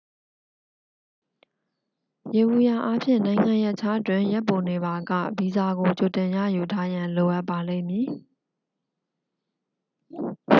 ယေဘုယျအားဖြင့် နိုင်ငံရပ်ခြားတွင် ရက်ပိုနေပါက ဗီဇာကိုကြိုတင်ရယူထားရန် လိုအပ်ပါလိမ့်မည်